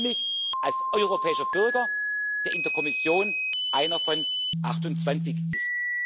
Ich fühle mich als europäischer Bürger, der in der Kommission einer von 28 ist.